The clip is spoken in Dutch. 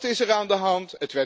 Wat is er aan de hand?